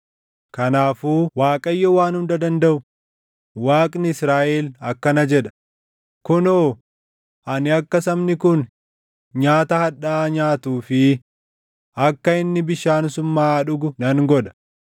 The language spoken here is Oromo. Kanaafuu Waaqayyo Waan Hunda Dandaʼu, Waaqni Israaʼel akkana jedha: “Kunoo, ani akka sabni kun nyaata hadhaaʼaa nyaatuu fi akka inni bishaan summaaʼaa dhugu nan godha.